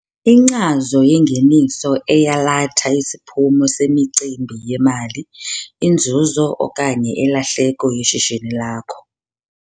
Inkcazo yeNgeniso eyalatha isiphumo semicimbi yemali - inzuzo okanye ilahleko yeshishini lakho.